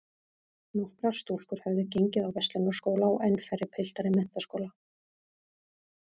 Nokkrar stúlkur höfðu gengið á Verslunarskóla og enn færri piltar í menntaskóla.